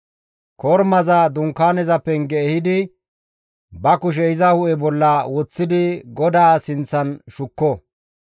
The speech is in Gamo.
Kormaza dunkaaneza penge ehidi ba kushe iza hu7e bolla woththidi GODAA sinththan shukko.